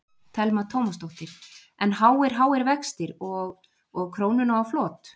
Telma Tómasdóttir: En háir, háir vextir og, og krónuna á flot?